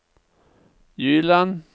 Gyland